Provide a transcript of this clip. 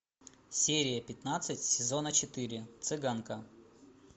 серия пятнадцать сезона четыре цыганка